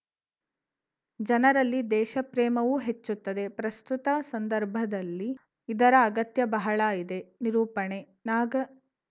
ಜನರಲ್ಲಿ ದೇಶಪ್ರೇಮವೂ ಹೆಚ್ಚುತ್ತದೆ ಪ್ರಸ್ತುತ ಸಂದರ್ಭದಲ್ಲಿ ಇದರ ಅಗತ್ಯ ಬಹಳ ಇದೆ ನಿರೂಪಣೆ ನಾಗ